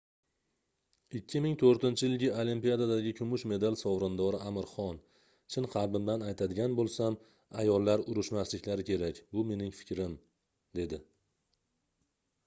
2004-yilgi olimpiadadagi kumush medal sovrindori amir xon chin qalbimdan aytadigan boʻlsam ayollar urushmasliklari kerak bu mening fikrim dedi